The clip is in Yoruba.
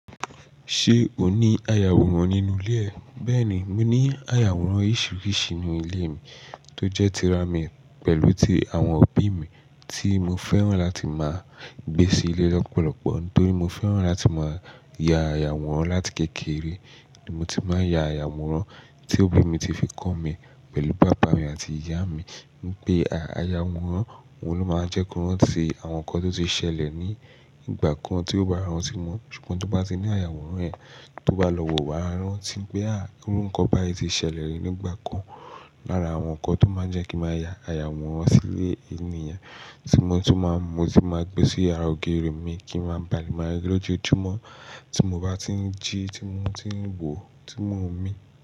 Ṣé o ní ayàwòrán nínú ilé ẹ? Bẹ́ẹ̀ni, mo ní ayàwòrán oríṣiríṣi nínú ilé mi tó jẹ́ tiramì pẹ̀lú ti àwọn òbí mi tí mo fẹ́ràn láti máa gbé sí ilé lọ́pọ̀lọpọ̀ nítorí mo fẹ́ràn láti máa ya ayàwòrán láti kékeré. Mo ti máa ya ayàwòrán tí òbí mi ti fi kọ mí pẹ̀lú bàbá mi àti ìyá mi wípé, à, ayàwòrán, òun ló máa ń jẹ́ kí wọ́n rí àwọn nǹkan tó ti ṣẹlẹ̀ ní ìgbà kan tí ó bá rántí mọ́, ṣùgbọ́n tí wọ́n bá ti ní ayàwòrán yẹn tó bá lọ́wọ́, wàá rántí pé, à, ó ń kọ́ bá i ti ṣẹlẹ̀ ní ìgbà kan. Lára àwọn nǹkan tó máa ń jẹ́ kí máa ya ayàwòrán sí ilé ènìyàn tí mo tún máa ń mu, tí máa ń gbé sí yàrá ògiri mi kí ń máa bale mári lójoójúmọ́ tí mo bá ti ń jí, tí mo ti ń wò, tí mo ń mì.